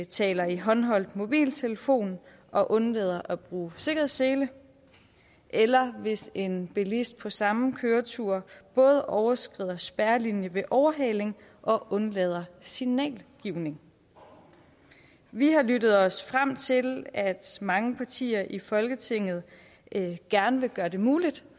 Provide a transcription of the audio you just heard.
taler i håndholdt mobiltelefon og undlader at bruge sikkerhedssele eller hvis en bilist på samme køretur både overskrider spærrelinjen ved overhaling og undlader signalgivning vi har lyttet os frem til at mange partier i folketinget gerne vil gøre det muligt